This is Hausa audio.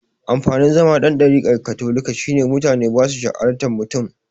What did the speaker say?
Amfanin zama dan ɗarikar katolika shine mutane basu shar'anta mutum